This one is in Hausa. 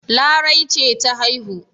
Larai ce ta haihu.